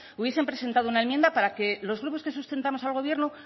hubiesen presentado una enmienda para que los grupos que sustentamos al gobierno